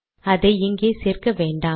அதை இங்கே சேர்க்க வேண்டாம்